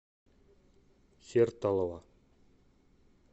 сертолово